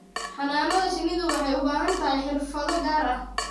Xannaanada shinnidu waxay u baahan tahay xirfado gaar ah.